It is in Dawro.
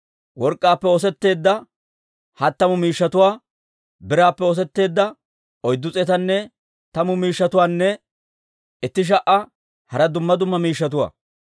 work'k'aappe oosetteedda hattamu miishshatuwaa, biraappe oosetteedda oyddu s'eetanne tammu miishshatuwaanne itti sha"a hara dumma dumma miishshatuwaa.